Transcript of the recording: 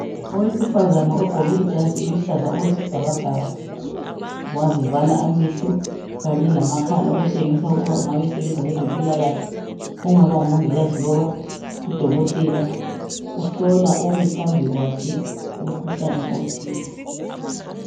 Owesifazana ogqoke ijazi eziluhlaza okwesibhakabhaka wazivala amehlo kanye lamakhala okutshengisa ukuba usebenza kwezempilakahle okungaba ngumongikazi loba udokotela. Uhlola omi phambi kwakhe umkhuhlane othile.